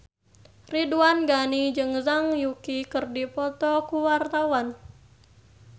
Ridwan Ghani jeung Zhang Yuqi keur dipoto ku wartawan